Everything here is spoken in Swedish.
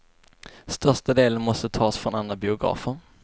Största delen måste tas från andra biografer.